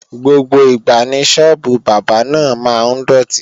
Gbogbo ìgbà ni Sọ́ọ́bù Bábà náà máa ń dòtí